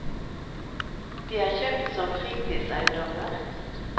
De er kjøpt som fritidseiendommer.